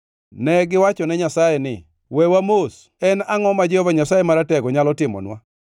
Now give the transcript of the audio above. Negiwachone Nyasaye ni, ‘Wewa mos!’ En angʼo ma Jehova Nyasaye Maratego nyalo timonwa?